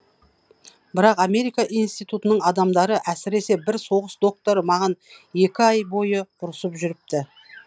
бірақ америка институтының адамдары әсіресе бір соғыс докторы маған екі ай бойы ұрысып жүріпті